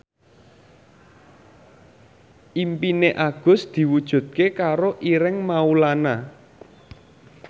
impine Agus diwujudke karo Ireng Maulana